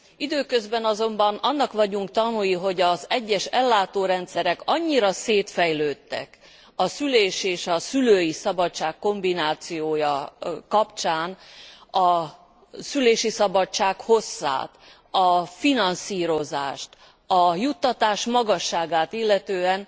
Időközben azonban annak vagyunk tanúi, hogy az egyes ellátórendszerek annyira szétfejlődtek, a szülés és a szülői szabadság kombinációja kapcsán a szülési szabadság hosszát, a finanszírozást, a juttatás magasságát illetően,